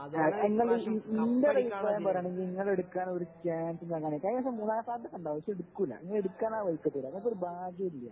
ഇന്റെ ഒരു അഭിപ്രായം പറയാണെങ്കിൽ ഇങ്ങള് എടുക്കാനുള്ള ഒരു ചാൻസും കാണുന്നില്ല. കഴിഞ്ഞ പ്രാവശ്യം മൂന്നാം സ്ഥാനത്തൊക്കെ ഉണ്ടാകും പക്ഷേ എടുക്കൂല ഇങ്ങേടുക്കാനെ ഇങ്ങള്ക്ക് ഒരു ഭാഗ്യം ഇല്ല